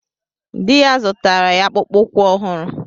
Di ya zụtara ya akpụkpọ ụkwụ ọhụrụ.